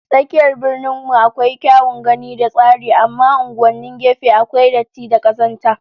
Tsakiyar Birnin mu akwai kyawun gani da tsari amma unguwannin gefe akwai datti da kazanta